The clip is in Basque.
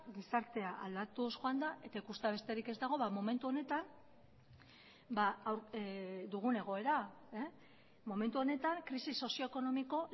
gizartea aldatuz joan da eta ikustea besterik ez dago momentu honetan dugun egoera momentu honetan krisi sozio ekonomiko